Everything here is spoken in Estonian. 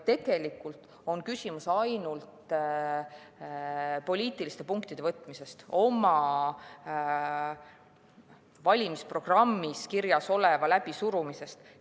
Tegelikult on küsimus ainult poliitiliste punktide võtmises, oma valimisprogrammis kirjas oleva läbisurumises.